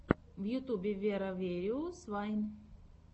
в ютюбе веро вериус вайн